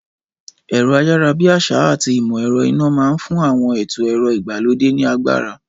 Ẹ̀rọ-ayárabíàsá àti ìmọ̀ ẹ̀rọ iná máa ń fún àwọn ètò ẹ̀rọ ìgbàlódé ní agbára.